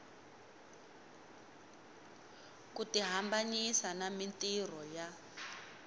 ku tihambanyisa na mintirho ya